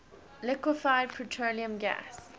liquefied petroleum gas